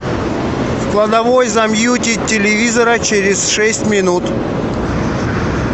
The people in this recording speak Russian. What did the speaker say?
в кладовой замьютить телевизора через шесть минут